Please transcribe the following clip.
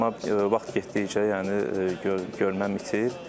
Amma vaxt getdikcə, yəni görməm itir.